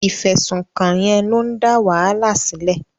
Ìfẹ̀sùnkàn yẹn ló ń dá wàhálà sílẹ̀.